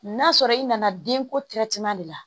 N'a sɔrɔ i nana denko de la